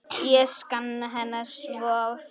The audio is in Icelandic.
Ég sakna hennar svo sárt.